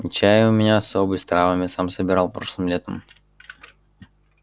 и чай у меня особый с травами сам собирал прошлым летом